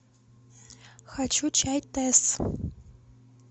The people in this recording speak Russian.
хочу чай тесс